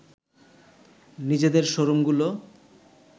নিজেদের শোরুমগুলো